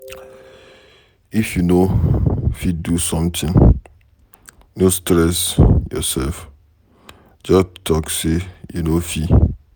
If you no fit do something, no stress yourself just talk say you no fit.